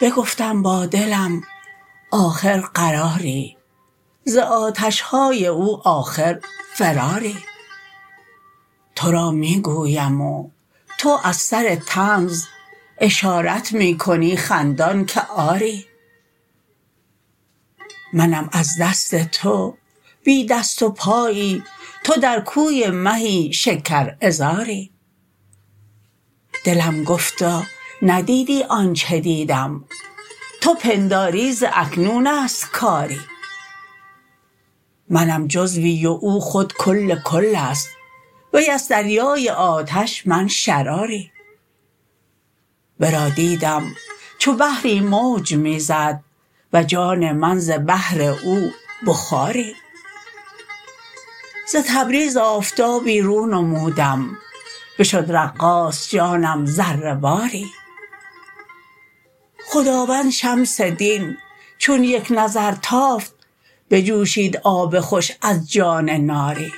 بگفتم با دلم آخر قراری ز آتش های او آخر فراری تو را می گویم و تو از سر طنز اشارت می کنی خندان که آری منم از دست تو بی دست و پایی تو در کوی مهی شکرعذاری دلم گفتا ندیدی آنچ دیدم تو پنداری ز اکنون است کاری منم جزوی و از خود کل کل است وی است دریای آتش من شراری ورا دیدم چو بحری موج می زد و جان من ز بحر او بخاری ز تبریز آفتابی رو نمودم بشد رقاص جانم ذره واری خداوند شمس دین چون یک نظر تافت بجوشید آب خوش از جان ناری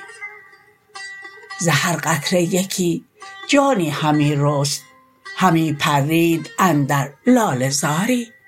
ز هر قطره یکی جانی همی رست همی پرید اندر لاله زاری